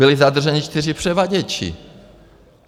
Byli zadrženi 4 převaděči.